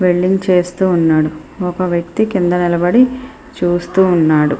Welding చేస్తూ ఉన్నారు ఒక వ్యక్తి కింద నిలబడి చూస్తూ ఉన్నాడు.